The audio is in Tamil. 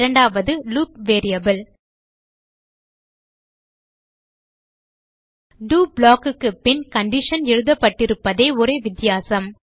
இரண்டாவது லூப் வேரியபிள் டோ block க்கு பின் கண்டிஷன் எழுதப்பட்டிருப்பதே ஒரே வித்தியாசம்